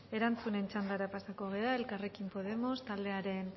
erantzunen txandara pasatuko gara elkarrekin podemos taldearen